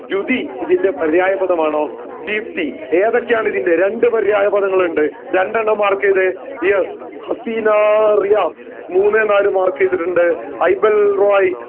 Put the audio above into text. രുതി ഇതിന്റെ പര്യായ പദമാണോ ദീപ്തി ഏതൊക്കെയാണ് ഇതിൻറെ രണ്ട് പര്യായ പദങ്ങളുണ്ട് രണ്ടെണ്ണം mark ചെയ്തേ yes ഹസീന റിയാസ് മൂന്ന് നാല് mark ചെയ്തിറ്റിണ്ട്